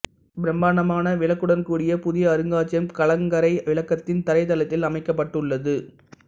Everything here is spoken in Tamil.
பிரமாண்டமான விளக்குடன்கூடிய புதிய அருங்காட்சியகம் கலங்கரை விளக்கத்தின் தரைத்தளத்தில் அமைக்கப்பட்டுள்ளது